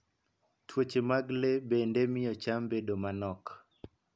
Tuoche mag le bende miyo cham bedo manok.